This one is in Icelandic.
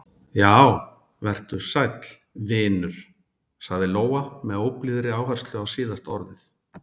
Já, vertu sæll, vinur, sagði Lóa með óblíðri áherslu á síðasta orðið.